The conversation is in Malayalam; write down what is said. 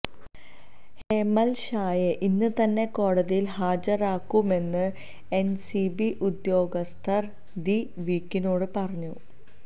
ഹേമല് ഷായെ ഇന്ന് തന്നെ കോടിതിയില് ഹാജരാക്കുമെന്ന് എന്സിബി ഉദ്യോഗസ്തര് ദി വീക്കിനോട് പറഞ്ഞു